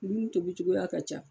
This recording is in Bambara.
Dumuni tobi cogoya ka ca.